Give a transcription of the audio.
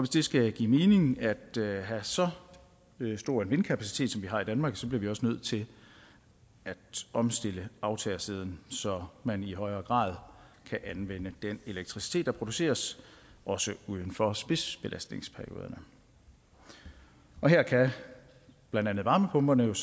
det skal give mening at have så stor en vindkapacitet som vi har i danmark så bliver vi også nødt til at omstille aftagersiden så man i højere grad kan anvende den elektricitet der produceres også uden for spidsbelastningsperioderne her kan blandt andet varmepumperne